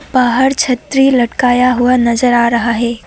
बाहर छतरी लटकाया हुआ नजर आ रहा है।